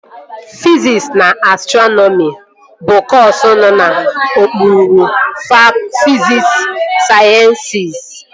Fiziks na Astrọnọmi bụ kọsu nọ n'okpuru fisikul sayensịs